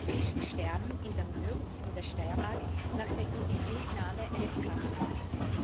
Fischsterben in der Mürz in der Steiermark nach der Inbetriebnahme eines Kraftwerks.